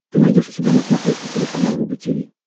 ты найдешь у себя на смотрешке телеканал рубль ти ви